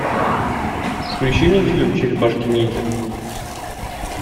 включи мне фильм черепашки ниндзя